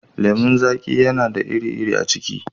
lemun zaƙi yana da iri a ciki.